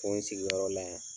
Fo n sigiyɔrɔ la yan.